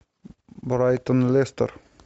брайтон лестер